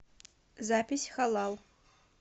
запись халал